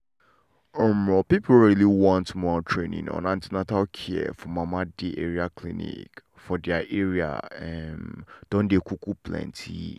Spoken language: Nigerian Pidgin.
um people wey really want more training on an ten atal care for mama dey around clinics for their area um don dey um plenty.